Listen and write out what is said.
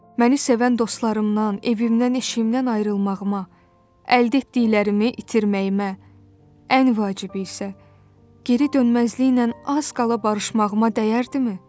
Məni sevən dostlarımdan, evimdən, işimdən ayrılmağıma, əldə etdiklərimi itirməyimə, ən vacibi isə, geri dönməzliklə az qala barışmağıma dəyərdimi?